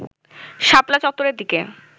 শাপলা চত্বরের দিকে